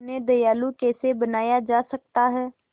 उन्हें दयालु कैसे बनाया जा सकता है